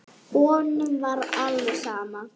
Honum var alveg sama.